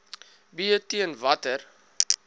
b teen watter